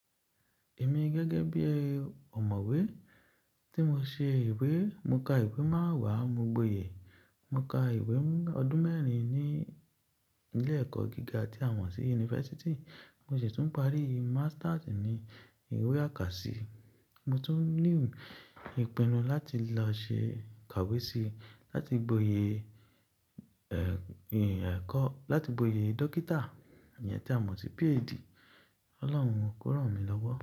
Èmi gẹ́gẹ́ bí i ọ̀mọ̀wé tí mo ṣe ìwé, mo ka ìwé máa wàá, mo gboyè. Mo ka ìwé ọdún mẹ́rin ní ilé ẹ̀kọ́ gíga ti àwọn tí University, mo sì tún parí masters ni ìwé àkàsí. Mo tún ní ìpinnu láti lọ ṣe kàwé sí, láti gboyè ẹ̀, ì ẹ̀kọ́, láti gboyè dókítà, èyí tí a mọ̀ sí PhD. Ọlọ́run kó ràn mí lọ́wọ́.